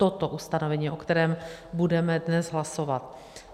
Toto ustanovení, o kterém budeme dnes hlasovat.